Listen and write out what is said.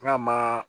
N ka ma